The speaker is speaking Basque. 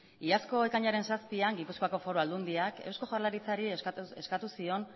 iazko ekainaren zazpian gipuzkoako foru aldundiak eusko jaurlaritzari eskatu zion